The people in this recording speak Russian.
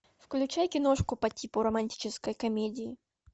включай киношку по типу романтической комедии